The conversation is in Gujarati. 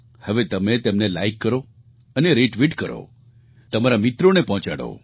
હવે તમે તેમને લાઇક કરો અને રિટ્વીટ કરો તમારા મિત્રોને પહોંચાડો